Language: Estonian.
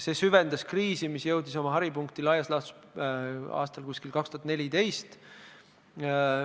See süvendas kriisi, mis jõudis oma haripunkti laias laastus aastal 2014.